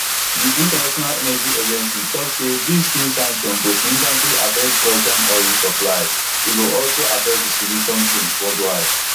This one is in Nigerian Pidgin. di international energy agency tok say dis new sanction go significantly affect russian oil supply but e go also affect distribution chains worldwide